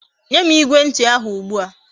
Nyem Igwe nti ahu ugbua